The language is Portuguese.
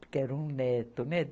quero um neto, né?